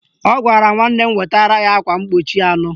Ọ gwara nwanne m wetara ya akwa mkpuchi anọ